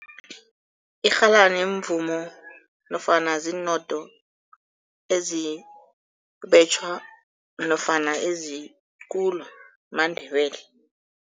Irhalani mvumo nofana ziinodo ezibetjhwa nofana ezikulu maNdebele.